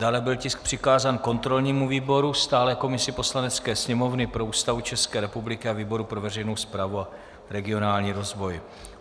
Dále byl tisk přikázán kontrolnímu výboru, stálé komisi Poslanecké sněmovny pro Ústavu České republiky a výboru pro veřejnou správu a regionální rozvoj.